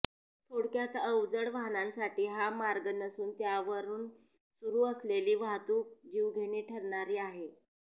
थोडक्यात अवजड वाहनांसाठी हा मार्ग नसून त्यावरून सुरू असलेली वाहतूक जीवघेणी ठरणारी आहे